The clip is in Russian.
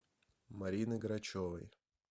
марины грачевой